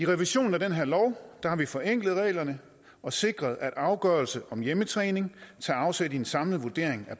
revisionen af den her lov har vi forenklet reglerne og sikret at afgørelser om hjemmetræning tager afsæt i en samlet vurdering af